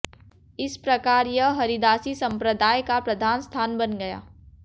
इस प्रकार यह हरिदासी संम्प्रदाय का प्रधान स्थान बन गया